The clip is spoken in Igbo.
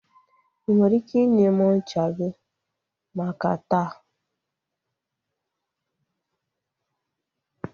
I nwere ike inye m ncha gị maka taa?